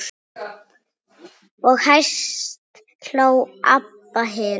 Og hæst hló Abba hin.